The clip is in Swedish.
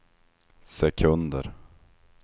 sekunder